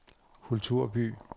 kulturby